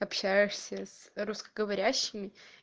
общаешься с русскоговорящими